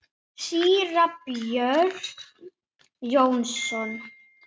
Síra Björn Jónsson